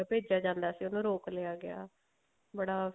ਭੇਜਿਆ ਜਾਂਦਾ ਸੀ ਉਹਨੂੰ ਰੋਕ ਲਿਆ ਗਿਆ ਬੜਾ